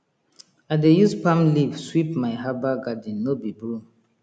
i dey use palm leaf sweep my herbal garden no be broom